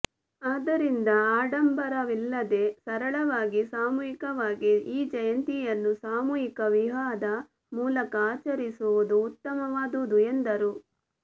ಆದ್ದರಿಂದ ಅಡಂಬರವಿಲ್ಲದೆ ಸರಳವಾಗಿ ಸಾಮೂಹಿಕವಾಗಿ ಈ ಜಯಂತಿಯನ್ನು ಸಾಮೂಹಿಕ ವಿವಾಹದ ಮೂಲಕ ಅಚರಿಸುವುದು ಉತ್ತಮವಾದುದು ಎಂದರು